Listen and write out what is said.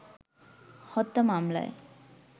হত্যা মামলায়